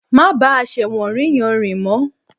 Má bá àṣẹ̀wọ̀nrí yẹn rìn mọ́